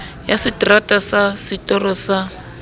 ya seterata sa setoro sa